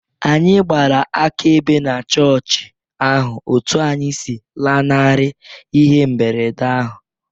Anyị gbara akaebe na chọọchị ahụ otú anyị si lanarị ihe mberede ahụ